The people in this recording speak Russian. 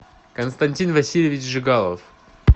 константин васильевич жигалов